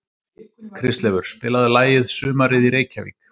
Kristleifur, spilaðu lagið „Sumarið í Reykjavík“.